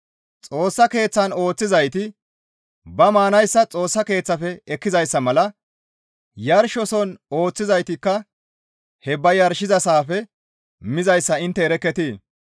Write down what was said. Xoossa Keeththan ooththizayti ba maanayssa Xoossa keeththafe ekkizayssa mala yarshoson ooththizaytikka he ba yarshizayssafe mizayssa intte erekketii?